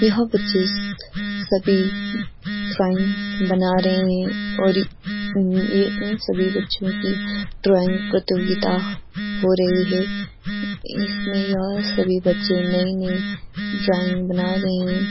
यहां बच्चे सभी ड्राइंग बना रहे हैं और ये इन सभी बच्चों की ड्राइंग प्रतियोगिता हो रही है इसमें या सभी बच्चे नई-नई ड्राइंग बना रहे हैं।